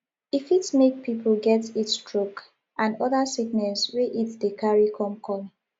e fit make pipo get heat stroke and oda sickness wey heat dey carry come come